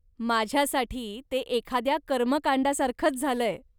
माझ्यासाठी ते एखाद्या कर्मकांडासारखंच झालंय.